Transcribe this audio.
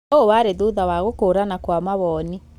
Na ũũ warĩ thutha wa gũkũrana kwa mawoni.